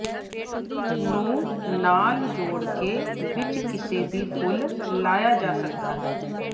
ਨੂੰ ਨਾਲ ਜੋੜ ਕੇ ਵਿੱਚ ਕਿਸੇ ਵੀ ਫੁੱਲ ਲਾਇਆ ਜਾ ਸਕਦਾ ਹੈ